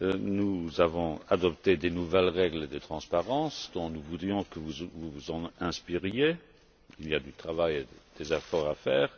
Nous avons adopté de nouvelles règles de transparence dont nous voulions que vous vous inspiriez il y a du travail et des efforts à faire.